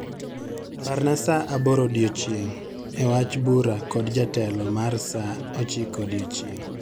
Parna saa aboro odiechieng' e wach bura kod jatelo mar saa ochiko odiechieng'